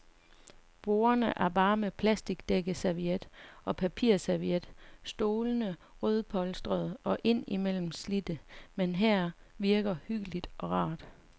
Bordene er bare, med plasticdækkeserviet og papirserviet, stolene rødpolstrede og ind imellem slidte, men her virker hyggeligt og rart.